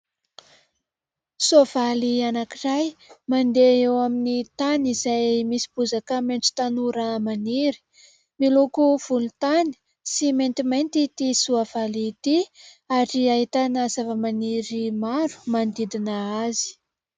Soavaly anankiray mandeha eo amin'ny tany izay misy bozaka maitso tanora maniry. Miloko volontany sy maintimainty ity soavaly ity ary ahitana zavamaniry maro manodidina azy.